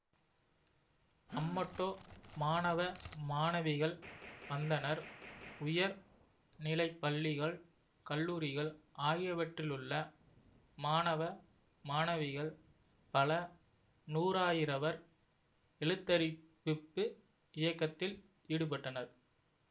அம்மட்டோ மாணவ மாணவிகள் வந்தனர் உயர் நிலைப்பள்ளிகள் கல்லூரிகள் ஆகியவற்றிலுள்ள மாணவ மாணவிகள் பல நூறாயிரவர் எழுத்தறிவிப்பு இயக்கத்தில் ஈடுபட்டனர்